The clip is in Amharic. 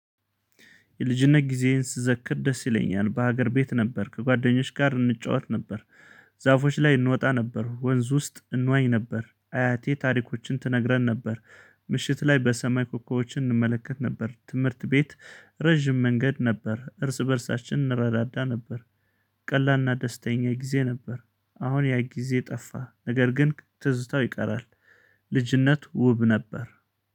የልጅነት ጊዜዬን ስዘክር ደስ ይለኛል በሀገር ቤት ነበርክ ከጓደኞች ጋር እንጫወት ነበር። ዛፎች ላይ እንወጣ ነበር ወንዝ ውስጥ እንዋኝ ነበር አያቴ ታሪኮችን ትነግረን ነበር። ምሽት ላይ በሰማይ ኮኮቦዎችን እንመለከት ነበር። ትምህርት ቤት ረዥም መንገድ ነበር እርስ በእርሳችን እንረዳዳ ነበር። ቀላልና ደስተኛ ጊዜ ነበር። አሁን ያ ጊዜ ጠፋ ነገር ግን ትዝታው ይቀራል። ልጅነት ውብ ነበር።